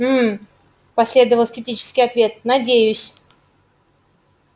гм последовал скептический ответ надеюсь